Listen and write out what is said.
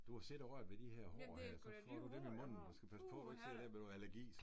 Du har siddet og rørt ved de får her så får du dem i munden og skal passe på man ikke sidder her med noget allergi så